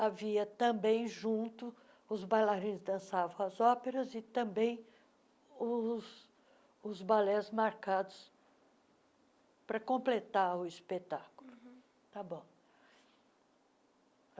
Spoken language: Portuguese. havia também junto, os bailarinos dançavam as óperas e também os os balés marcados para completar o espetáculo. tá bom